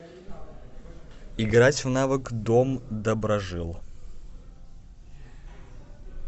играть в навык дом доброжил